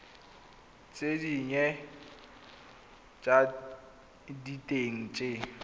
tse dinnye tsa diteng tse